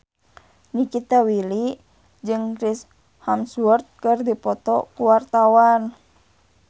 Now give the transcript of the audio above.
Nikita Willy jeung Chris Hemsworth keur dipoto ku wartawan